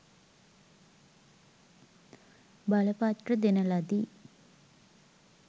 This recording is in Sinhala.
බලපත්‍ර දෙන ලදි